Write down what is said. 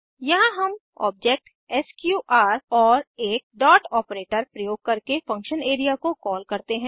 यहाँ हम object SQR और एक डॉट ऑपरेटर प्रयोग करके फंक्शन एरिया को कॉल करते हैं